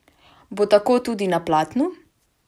Bo tako tudi na platnu?